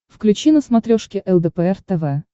включи на смотрешке лдпр тв